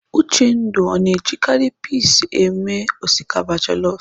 Uchendu ọ na-ejikarị pis esi osikapa jelọf?